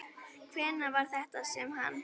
Hvenær var þetta sem hann.